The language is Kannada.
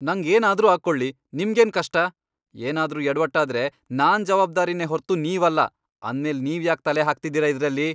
ನಂಗ್ ಏನಾದ್ರೂ ಆಗ್ಕೊಳ್ಳಿ, ನಿಮ್ಗೇನ್ ಕಷ್ಟ?! ಏನಾದ್ರೂ ಯಡ್ವಟ್ಟಾದ್ರೆ ನಾನ್ ಜವಾಬ್ದಾರಿನೇ ಹೊರ್ತು ನೀವಲ್ಲ. ಅಂದ್ಮೇಲ್ ನೀವ್ಯಾಕ್ ತಲೆ ಹಾಕ್ತಿದೀರ ಇದ್ರಲ್ಲಿ?!